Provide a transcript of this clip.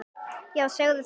Já, segðu það!